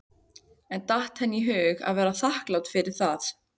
En datt henni í hug að vera þakklát fyrir það?